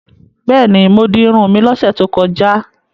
Bẹ́ẹ̀ni, mo di irun mi lọ́sẹ̀ tó kọjá.